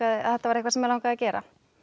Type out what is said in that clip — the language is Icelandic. að þetta var eitthvað sem mig langaði að gera